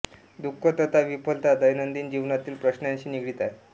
दुःख तथा विफलता दैनंदिन जीवनातील प्रश्नांशी निगडीत आहे